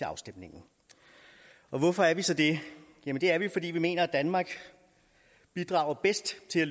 afstemningen og hvorfor er vi så det det er vi fordi vi mener at danmark bidrager bedst til at